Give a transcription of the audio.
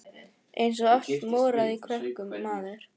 Eins og allt moraði í krökkum maður.